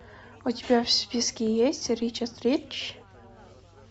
у тебя в списке есть ричард рич